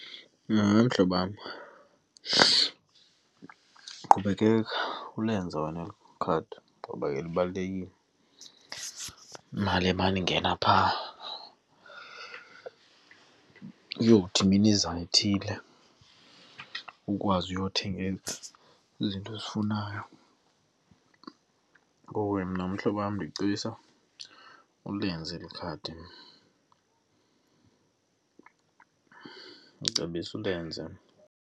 mhlobam, qhubekeka ulenza wena eli khadi ngoba ke ibalulekile, imali emane ingena phaa uyothi minizane ithile ukwazi uyothenga izinto ozifunayo. Ngoko ke mna mhlobo wam ndicebisa ulenze likhadi, ndicebisa ulenze.